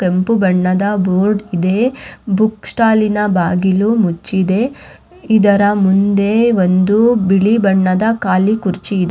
ಕೆಂಪು ಬಣ್ಣದ ಬೋರ್ಡ್ ಇದೆ ಬುಕ್ಕ್ ಸ್ಟಾಲಿನ ಬಾಗಿಲು ಮುಚ್ಚಿದೆ ಇದರ ಮುಂದೆ ಒಂದು ಬಿಳಿ ಬಣ್ಣದ ಕಾಲಿ ಕುರ್ಚಿ ಇ --